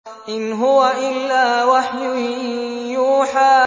إِنْ هُوَ إِلَّا وَحْيٌ يُوحَىٰ